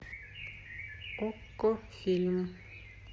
окко фильм